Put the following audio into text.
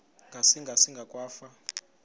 ngasinga singa akwafu